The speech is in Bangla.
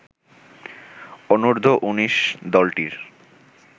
অনূর্ধ্ব ১৯ দলটির